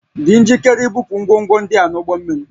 Dị njikere ibupu ngwongwo ndị a n'ụgbọ mmiri